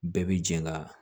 Bɛɛ bi jɛ ka